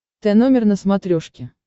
тномер на смотрешке